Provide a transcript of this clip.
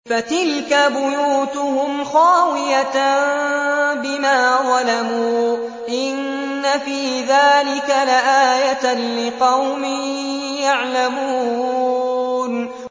فَتِلْكَ بُيُوتُهُمْ خَاوِيَةً بِمَا ظَلَمُوا ۗ إِنَّ فِي ذَٰلِكَ لَآيَةً لِّقَوْمٍ يَعْلَمُونَ